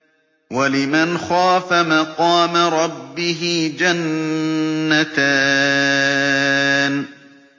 وَلِمَنْ خَافَ مَقَامَ رَبِّهِ جَنَّتَانِ